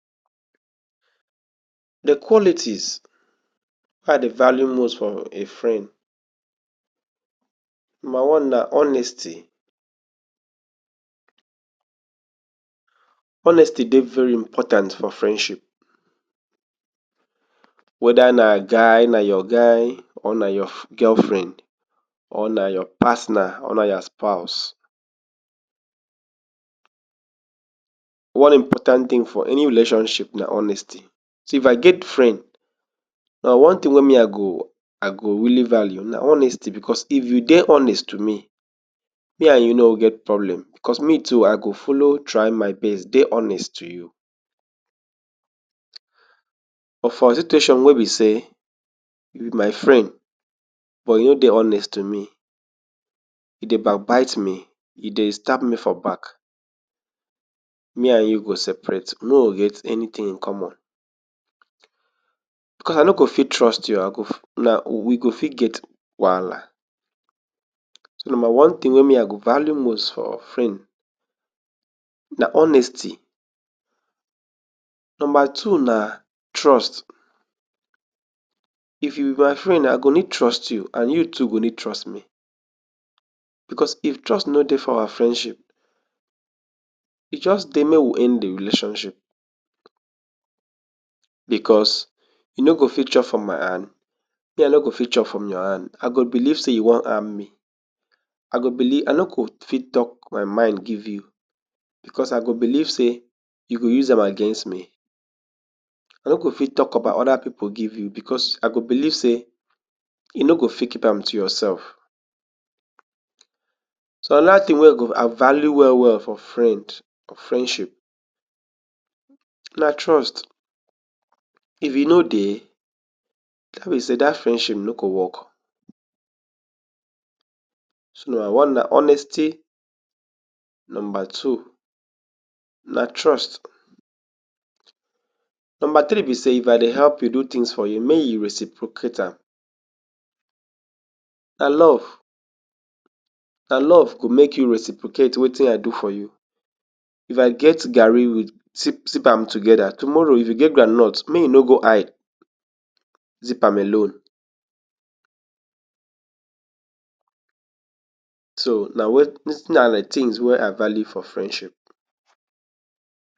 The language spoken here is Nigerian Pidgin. De qualities wey I dey value most from a frend, number one na honesty, honesty dey very important for frendship weda na guy na your guy or na your f girl friend or na your partner or na your spouse. One important tin for any relationship na honesty so if I get frend na one tin wey me I go i go really value na honesty bcos if you dey honest tu me, me an you nor get problem cos me too I go follow try my best dey honest tu you. bo for dis tation wey be sey you be my friend but you no dey honest tu me you dey back bit me you dey stab me for back me and you go separate we no o get anytin in common bcos I nor go fit trust you ,I go, na we go fit get wahala so number one tin wey me I go value most for frend na honesty number two na trust if you be my friend I go need trust you and you too go need trust me bcos if trust no dey for our frendship e just dey make we end de relationship bcos you no go fit chop for my hand and me I no go fit chop from your hand I go believe sey you wan harm me I go believe I no go fit tok my mind give you bcosI go beliv sey you go use am against me i nor go fit talk about oda pipu give you bcosI go beliv sey you no go fit keep am to yourselve. So, anoa tin wey I value well well for frend, or friendship na trust, if e nor dey ne be sey dat frendship nor go work. So number one na honesty, number two na trust number three be sey if I dey help youdo tins for you make you reciprocate am na love, na love go make you reciprocate wetin I do for you if I get garri we sip, sip am together tomorrow if you get groundnut make you nor go hide zip am alone so na tins wey I value for friendship.